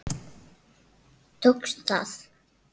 Tókst það.